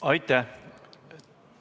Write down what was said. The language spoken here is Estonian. Aitäh!